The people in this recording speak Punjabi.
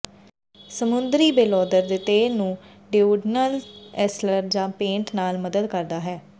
ਸਮੁੰਦਰੀ ਬੇਲੌਂਦਰ ਦੇ ਤੇਲ ਨੂੰ ਡੋਉਡੀਨਲ ਅਲਸਰ ਜਾਂ ਪੇਟ ਨਾਲ ਮਦਦ ਕਰਦਾ ਹੈ